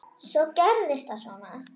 Svo gerist það svona.